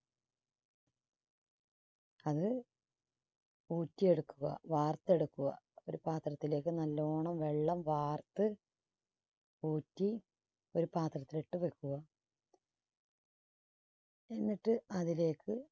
അത് ഊറ്റിയെടുക്കുക. വാർത്തെടുക്കുക ഒരു പാത്രത്തിലേക്ക് നല്ലോണം വെള്ളം വാർത്ത് ഊറ്റി ഒരു പാത്രത്തിൽ ഇട്ട് വെക്കുക. എന്നിട്ട് അതിലേക്ക്